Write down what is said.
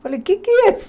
Falei, o que é isso?